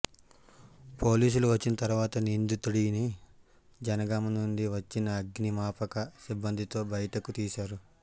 పోలీసులు వచ్చిన తర్వాత నిందితుడిని జనగామ నుండి వచ్చిన అగ్నిమాకప సిబ్బందితో బయటకు తీశారు